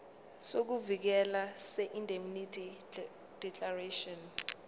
sokuvikeleka seindemnity declaration